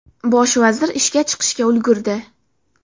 Bosh vazir ishga chiqishga ulgurdi.